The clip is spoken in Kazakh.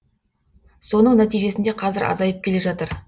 соның нәтижесінде қазір азайып келе жатыр